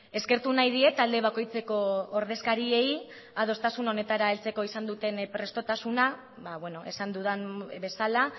eskertu nahi diet talde bakoitzeko ordezkariei adostasun honetara heltzeko izan duten prestotasuna esan dudan bezala